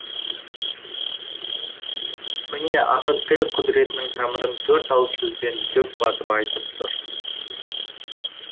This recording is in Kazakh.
міне ақын тіл құдіретінің тамырын төрт ауыз сөзбен дөп басып айтып тұр